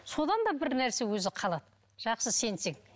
содан да бірнәрсе өзі қалады жақсы сенсең